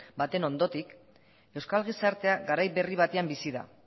baten ondotik euskal gizartea garai berri batean bizi da